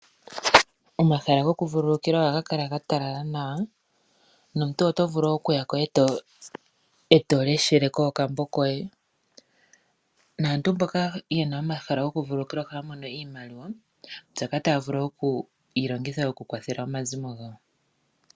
Omahala gokuvululukilwa ohaga kala ga talala nawa nomuntu oto vulu okuya ko e to leshele ko okambo koye. Aantu mboka ye na omahala gokuvulululikilwa ohaya mono iimaliwa mbyoka taya vulu okuyi longitha okukwathela omazimo gawo.